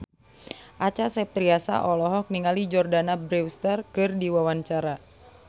Acha Septriasa olohok ningali Jordana Brewster keur diwawancara